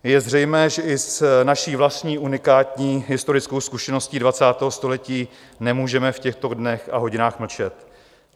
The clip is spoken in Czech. Je zřejmé, že i s naší vlastní unikání historickou zkušeností 20. století nemůžeme v těchto dnech a hodinách mlčet.